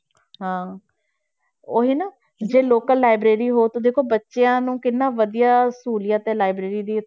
ਹਾਂ ਉਹੀ ਨਾ ਜੇ local library ਹੋ ਤੇ ਦੇਖੋ ਬੱਚਿਆਂ ਨੂੰ ਕਿੰਨਾ ਵਧੀਆ ਸਹੂਲੀਅਤ ਹੈ library ਦੀ